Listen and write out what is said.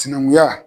Sinankunya